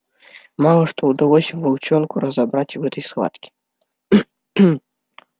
мало что удалось волчонку разобрать в этой схватке